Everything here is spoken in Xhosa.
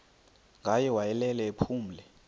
ngaye wayelele ephumle